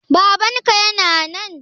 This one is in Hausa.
Babanka yana nan?